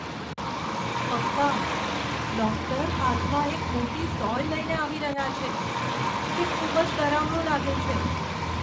પપ્પા, ડૉક્ટર હાથમાં એક મોટી સોય લઈને આવી રહ્યા છે. તે ખૂબ જ ડરામણું લાગે છે.